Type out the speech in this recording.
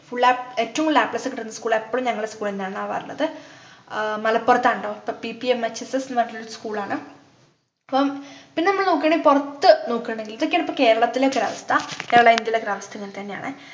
ഉള്ള ഏറ്റവും കൂടുതൽ a plus കിട്ടുന്ന school എപ്പോളും ഞങ്ങളെ school എന്നെയാണ് ആവാറുള്ളത് ആഹ് മലപ്പുറത്ത് ആണ് ട്ടോ ppmhss ന്നു പറഞ്ഞിട്ടുള്ള ഒരു school ആണ് പ്പോ പിന്നെ മ്മള് നോക്കുയാണെങ്കില് പുറത്തു നോക്കുന്നുണ്ടെങ്കിൽ ഇതൊക്കെയാണ് പ്പോ കേരളത്തിലെ ഒരവസ്ഥ കേരള ഇന്ത്യയിലെ ഒക്കെ അവസ്ഥ ഇങ്ങനെത്തന്നെയാണ്